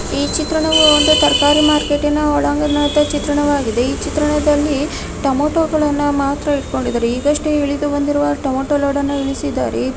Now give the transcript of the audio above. ಈ ಚಿತ್ರಣವು ಒಂದು ತರಕಾರಿ ಮಾರ್ಕೆಟಿನ ಒಳಾಗಂಣದ ಚಿತ್ರವಾಗಿದೆ ಈ ಚಿತ್ರಣದಲ್ಲಿ ಟೊಮ್ಯಾಟೋಗಳನ್ನ ಮಾತ್ರ ಇಟ್ಟಕೊಂಡಿದರೆ ಈಗಷ್ಟೇ ಇಳಿದು ಬಂದಿರುವ ಟೊಮೇಟೊ ಲೋಡ್ ಅನ್ನ ಇಳಿಸಿದ್ದಾರೆ.